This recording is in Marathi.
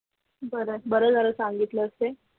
बरं झालं सांगितलंस ते